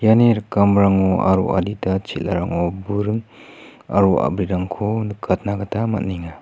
iani rikamrango aro adita chel·arango buring aro a·brirangko nikatna gita man·enga.